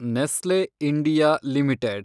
Nestle India limited